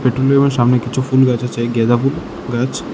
Petrol পাম্পের সামনে কিছু ফুল গাছ আছে গ্যাদা ফুল গাছ।